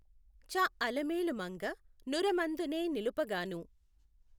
చ అలమేలుమంగ నుఱమందునే నిలుపగాను